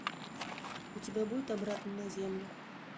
у тебя будет обратно на землю